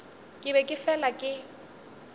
ke be ke fela ke